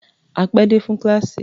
A pé dé fún kíláàsì.